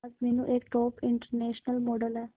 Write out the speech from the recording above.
आज मीनू एक top international model है